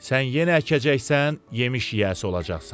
Sən yenə əkəcəksən, yemiş yiyəsi olacaqsan.